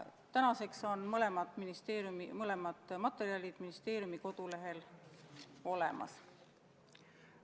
Tänaseks on mõlemad materjalid ministeeriumi kodulehel olemas.